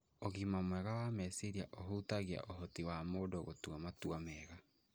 Ũgima mwega wa meciria ũhutagia ũhoti wa mũndũ wa gũtua matua mega